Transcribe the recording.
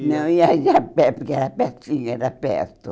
Não, ia ia a pé, porque era pertinho, era pertinho era perto.